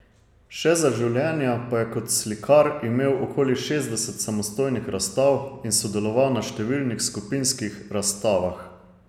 Še za življenja pa je kot slikar imel okoli šestdeset samostojnih razstav in sodeloval na številnih skupinskih razstavah ...